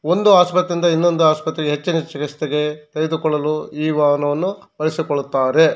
ಒಂದು ಆಸ್ಪತ್ರೆಯಿಂದ ಇನ್ನೊಂದು ಆಸ್ಪತ್ರೆಗೆ ಹೆಚ್ಚಿನ ಚಿಕಿಸ್ಸೆಗೆ ತೆಗೆದುಕೊಳ್ಳಲು ಈ ವಾಹನನ್ನು ಬಳಸಿಕೊಳ್ಳುತ್ತಾರೆ .